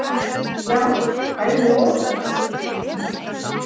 Já, bæði og.